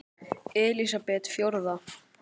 Elísabet: Fjórða?